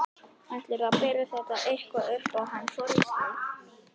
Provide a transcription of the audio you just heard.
Ætlarðu að bera þetta eitthvað upp á hann Þorstein?